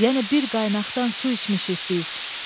Yəni bir qaynaqdan su içmişik biz.